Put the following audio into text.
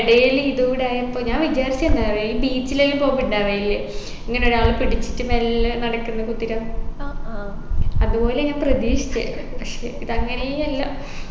ഇടയിൽ ഇതുകൂടെയായപ്പോ ഞാൻ വിചാരിച്ചയല്ല beach ലെല്ലും പോവുമ്പൊ ഇണ്ടാവലില്ലേ ഇങ്ങനെ ഒരാൾ പിടിച്ചിട്ട് മെല്ലെ നടക്കുന്ന കുതിര അതുപോലെ ഞാൻ പ്രതീക്ഷിച്ചേ പക്ഷേ ഇത് അങ്ങനേ അല്ല